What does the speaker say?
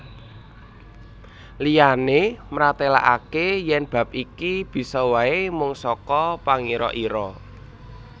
Liyané mratélakaké yèn bab iki bisa waé mung saka pangira ira